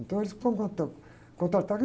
Então eles foram contra, contrataram